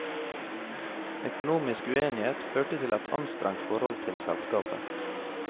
Økonomisk uenighet førte til et anstrengt forhold til selskapet.